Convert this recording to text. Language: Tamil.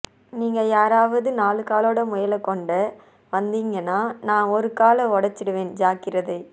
நீங்க யாராவது நாலுகாலோட முயல கொண்டுவந்தீங்கன்னா நான் ஒரு காலஓடிச்சிடுவேன் ஜாக்கிரதை